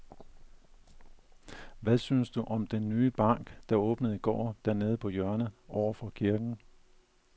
Hvad synes du om den nye bank, der åbnede i går dernede på hjørnet over for kirken?